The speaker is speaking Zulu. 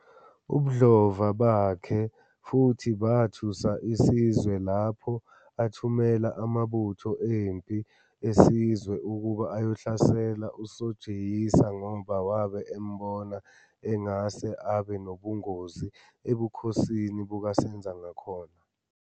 Ubodlova bakhe futhi bathusa isizwe lapho athumela amabutho empi esizwe ukuba ayohlasela uSojiyisa ngoba wabe embona engase abe nobungozi ebukhosini bukaSenzangakhona.